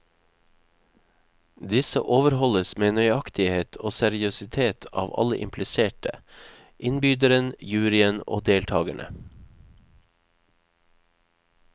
Disse overholdes med nøyaktighet og seriøsitet av alle impliserte, innbyderen, juryen og deltagerne.